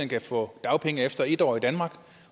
kan få dagpenge efter en år i danmark